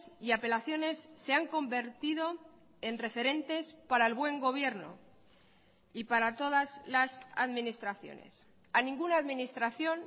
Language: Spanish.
y apelaciones se han convertido en referentes para el buen gobierno y para todas las administraciones a ninguna administración